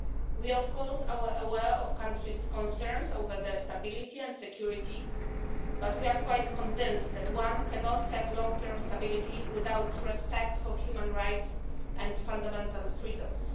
We are of course aware of countries' concerns over their stability and security, but we are quite convinced that one cannot have long term stability without respect for human rights and fundamental freedoms.